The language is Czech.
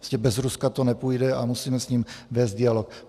Prostě bez Ruska to nepůjde a musíme s ním vést dialog.